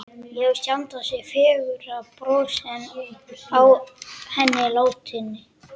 Ég hef sjaldan séð fegurra bros en á henni látinni.